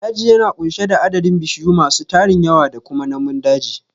Daji yana ƙunshe da adadin bishiyu masu tarin yawa da kuma namun daji